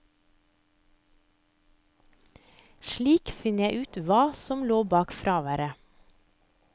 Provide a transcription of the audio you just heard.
Slik finner jeg ut hva som lå bak fraværet.